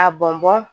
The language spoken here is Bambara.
A bɔn bɔn